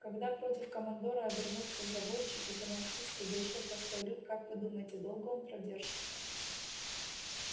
когда против командора обернутся заводчики финансисты да ещё простой люд как вы думаете долго он продержится